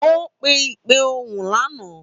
Ó pe ìpè ohùn lánàá.